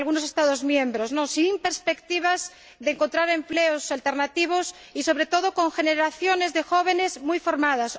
Estados miembros, sin perspectivas de encontrar empleos alternativos, a pesar de contar con generaciones de jóvenes muy formadas.